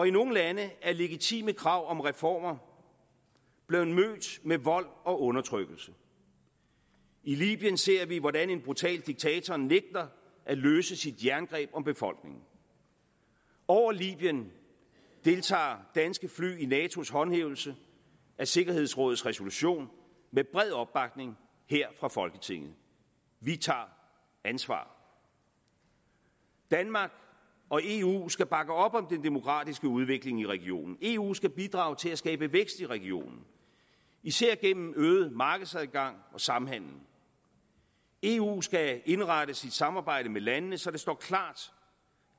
i nogle lande er legitime krav om reformer blevet mødt med vold og undertrykkelse i libyen ser vi hvordan en brutal diktator nægter at løsne sit jerngreb om befolkningen over libyen deltager danske fly i natos håndhævelse af sikkerhedsrådets resolution med bred opbakning her fra folketinget vi tager ansvar danmark og eu skal bakke op om den demokratiske udvikling i regionen eu skal bidrage til at skabe vækst i regionen især gennem øget markedsadgang og samhandel eu skal indrette sit samarbejde med landene så det står klart